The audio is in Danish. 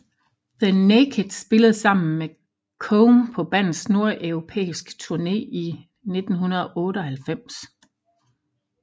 The Naked spillede sammen med Come på bandets nordeuropæiske tourne i 1998